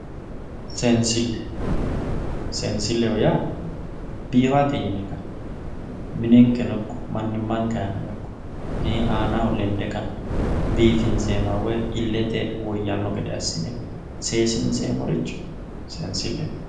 seensille seensilleho yaa biifate yine ka'ne minenkeno ikko manimanke aanano ikko aanaho lende ka''ne biifinseemoha woye illete woyanno gede assine seesinseemoricho seensilleho.